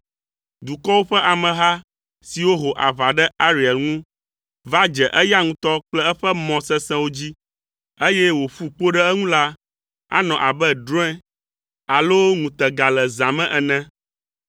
Dukɔwo ƒe ameha siwo ho aʋa ɖe Ariel ŋu va dze eya ŋutɔ kple eƒe mɔ sesẽwo dzi, eye wòƒu kpo ɖe eŋu la, anɔ abe drɔ̃e alo ŋutega le zã me ene.